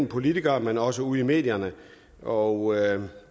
politikere men også ude i medierne og